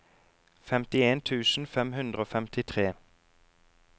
femtien tusen fem hundre og femtitre